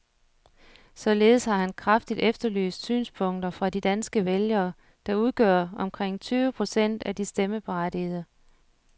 Således har han kraftigt efterlyst synspunkter fra de danske vælgere, der udgør omkring tyve procent af de stemmeberettigede.